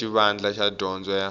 ya xivandla xa dyondzo ya